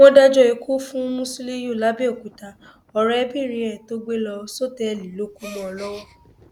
wọn dájọ ikú fún musiliu làbẹòkúta ọrẹbìnrin ẹ tó gbé lọ sọtẹẹlì ló kù mọ ọn lọwọ